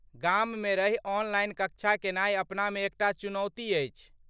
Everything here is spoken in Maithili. गाममे रहि ऑनलाइन कक्षा केनाइ अपनामे एकटा चुनौती अछि।